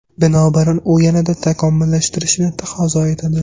Binobarin, u yanada takomillashtirishni taqozo etadi.